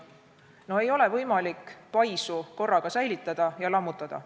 No ei ole võimalik paisu korraga säilitada ja lammutada.